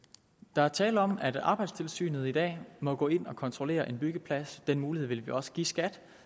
der er tale om at arbejdstilsynet i dag må gå ind og kontrollere en byggeplads den mulighed vil vi også give skat